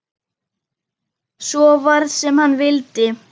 Svo varð sem hann vildi.